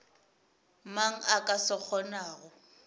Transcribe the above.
mang a ka se kgonago